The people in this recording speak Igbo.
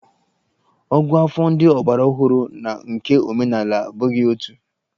Ògụ́àfọ̀ ndị ọgbaraọhụrụ na nke omenala abụghị otu.